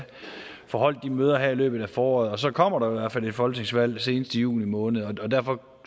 få holdt de møder her i løbet af foråret og så kommer der i hvert fald et folketingsvalg senest i juni måned og derfor